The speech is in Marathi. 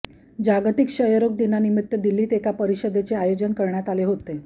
जागतिक क्षयरोग दिनानिमित्ताने दिल्लीत एका परिषदेचे आयोजन करण्यात आले होते